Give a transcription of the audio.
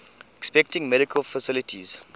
inspecting medical facilities